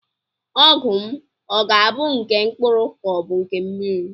Ọgwụ m ọ ga-abụ nke mkpụrụ ka ọ bụ nke mmiri?